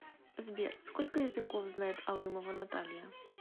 сбер сколько языков знает алымова наталья